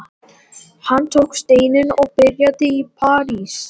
Hann tók steininn og byrjaði í parís.